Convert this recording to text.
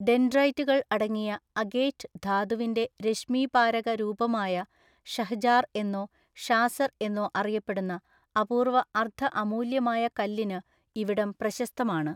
ഡെൻഡ്രൈറ്റുകൾ അടങ്ങിയ അഗേറ്റ് ധാതുവിന്റെ രശ്‌മീപാരക രൂപമായ ഷഹ്ജാർ എന്നോ ഷാസർ എന്നോ അറിയപ്പെടുന്ന അപൂർവ അർദ്ധ അമൂല്യമായ കല്ലിന് ഇവിടം പ്രശസ്തമാണ്.